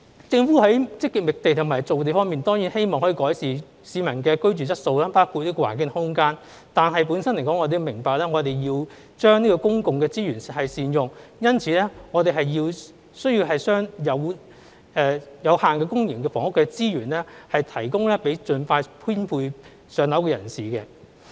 政府在積極覓地和造地方面當然希望可以改善市民的居住質素，包括環境及空間，但我們明白我們要善用公共資源，因此我們需要將有限的公營房屋的資源，提供給需要盡快編配"上樓"的人士。